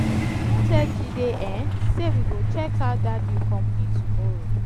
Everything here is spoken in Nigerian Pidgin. i don tell jide um say we go check out dat new company tomorrow